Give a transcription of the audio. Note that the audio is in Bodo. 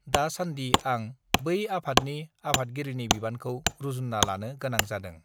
दा सान्दि आं बै आफादनि आफादगिरिनि बिबानखौ रूजुन्ना लानो गोनां जादों